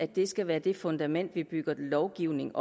det skal være det fundament vi bygger lovgivning